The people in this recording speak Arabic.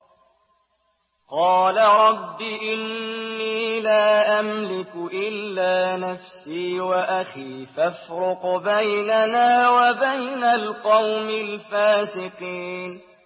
قَالَ رَبِّ إِنِّي لَا أَمْلِكُ إِلَّا نَفْسِي وَأَخِي ۖ فَافْرُقْ بَيْنَنَا وَبَيْنَ الْقَوْمِ الْفَاسِقِينَ